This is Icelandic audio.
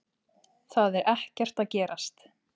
Það er ekkert að gerast.